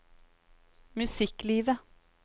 musikklivet